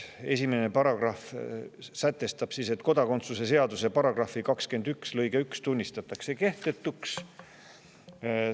Esimene paragrahv sätestab, et kodakondsuse seaduse § 21 lõige tunnistatakse kehtetuks.